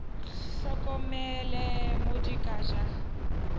hlokomele mo di ka ja